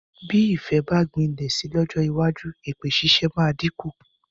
Bí ìfẹ́ bá gbilẹ̀ si lọ́jọ́ iwájú, èpè ṣíṣe máa dínkù.